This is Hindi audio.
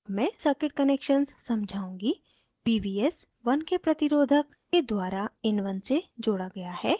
मैं circuit connections समझाऊँगी pvs 1k प्रतिरोधक के द्वारा in1 से जोड़ा गया है